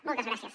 moltes gràcies